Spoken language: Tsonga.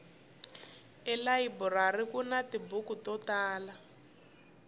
elayiburari kuni tibuku to tala